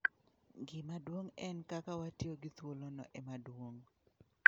Gima duong' en kaka watiyo gi thuolono ema duong'.